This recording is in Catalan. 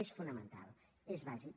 és fonamental és bàsic